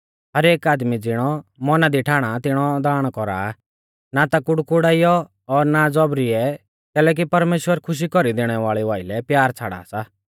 हर एक आदमी ज़िणौ मौना दी ठाणा तिणौ दाण कौरा ना ता कुड़कुड़ाइयौ और ना ज़ौबरी ऐ कैलैकि परमेश्‍वर खुशी कौरी दैणै वाल़ेऊ आइलै प्यार छ़ाड़ा सा